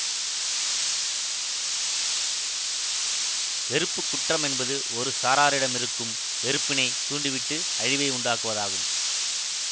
வெறுப்பு குற்றம் என்பது ஒரு சாராரிடமிருக்கும் வெறுப்பினை தூண்டிவிட்டு அழிவை உண்டாக்குவதாகும்